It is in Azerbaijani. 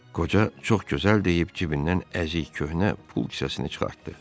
Qoca çox gözəl deyib cibindən əzik köhnə pul kisəsini çıxartdı.